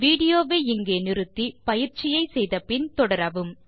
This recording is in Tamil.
வீடியோ வை நிறுத்தி பயிற்சியை முடித்த பின் தொடரவும்